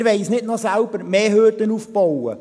Wir wollen uns nicht noch selber mehr Hürden aufbauen.